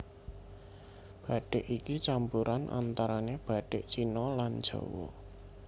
Bathik iki campuran antarané bathik Cina lan Jawa